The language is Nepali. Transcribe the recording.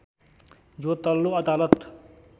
यो तल्लो अदालत